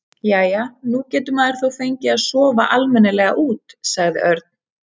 Jæja, nú getur maður þó fengið að sofa almennilega út sagði Örn.